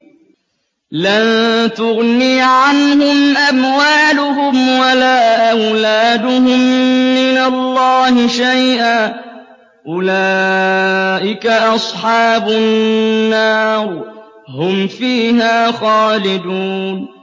لَّن تُغْنِيَ عَنْهُمْ أَمْوَالُهُمْ وَلَا أَوْلَادُهُم مِّنَ اللَّهِ شَيْئًا ۚ أُولَٰئِكَ أَصْحَابُ النَّارِ ۖ هُمْ فِيهَا خَالِدُونَ